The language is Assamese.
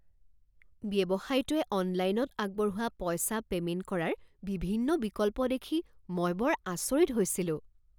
ব্যৱসায়টোৱে অনলাইনত আগবঢ়োৱা পইচা পেমেণ্ট কৰাৰ বিভিন্ন বিকল্প দেখি মই বৰ আচৰিত হৈছিলোঁ।